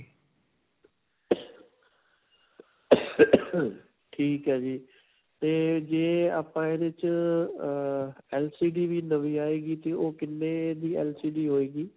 ਠੀਕ ਹੈ ਜੀ. ਤੇ ਜੇ ਆਪਾਂ ਇਹਦੇ 'ਚ ਅਅ LCD ਵੀ ਨਵੀਂ ਆਈਗੀ ਤੇ ਓਹ ਕਿੰਨੇ ਦੀ LCD ਹੋਏਗੀ?